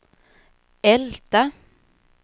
Älta